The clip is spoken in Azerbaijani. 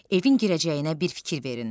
Evin girəcəyinə bir fikir verin.